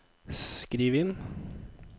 skriv inn